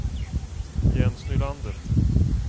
Jens Nylander